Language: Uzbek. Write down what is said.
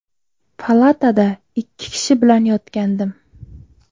Palatada ikki kishi bilan yotgandim.